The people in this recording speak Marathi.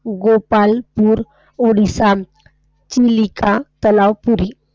गोपाळपूर, ओडिसा तलाव पुरी.